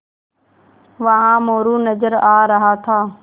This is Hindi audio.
वहाँ मोरू नज़र आ रहा था